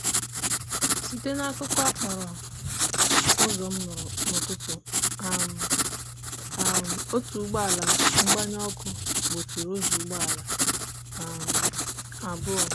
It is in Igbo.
site n'akukọ okporo ụzọ m nụrụ n'ụtụtụ um a otu ụgbọala mgbanyụ ọkụ gbochiri ụzọ ụgbọala um abụọ.